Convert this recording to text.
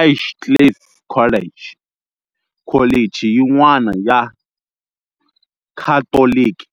Edgecliff College, kholichi yin'wana ya Khatoliki